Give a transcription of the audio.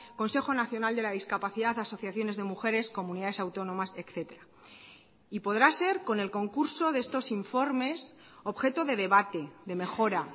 consejo nacional de la discapacidad asociaciones de mujeres comunidades autónomas etcétera y podrá ser con el concurso de estos informes objeto de debate de mejora